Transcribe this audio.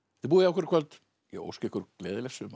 búið hjá okkur í kvöld ég óska ykkur gleðilegs sumars